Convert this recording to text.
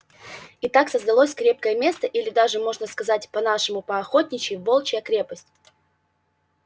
и так создалось крепкое место или даже можно сказать по-нашему по-охотничьи волчья крепость